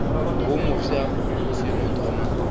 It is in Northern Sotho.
wo mofsa o seno thoma